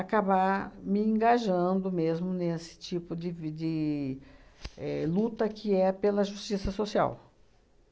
acabar me engajando mesmo nesse tipo de vi de éh luta que é pela justiça social.